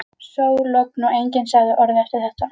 Sól, logn og enginn sagði orð eftir þetta.